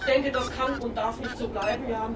Ich denke das kann und darf nicht so bleiben.